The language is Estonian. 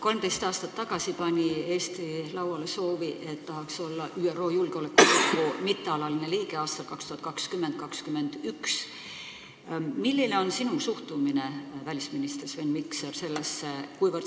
13 aastat tagasi pani Eesti lauale soovi, et tahaks olla ÜRO Julgeolekunõukogu mittealaline liige aastatel 2020 ja 2021. Milline on sinu suhtumine, välisminister Sven Mikser, sellesse?